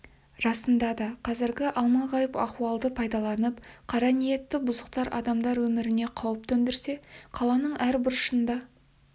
расында да қазіргі алма-ғайып ахуалды пайдаланып қара ниетті бұзықтар адамдар өміріне қауіп төндірсе қаланың әр бұрышында